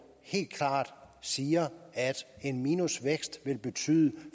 helt klart siger at en minusvækst vil betyde